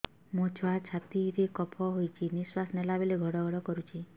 ମୋ ଛୁଆ ଛାତି ରେ କଫ ହୋଇଛି ନିଶ୍ୱାସ ନେଲା ବେଳେ ଘଡ ଘଡ କରୁଛି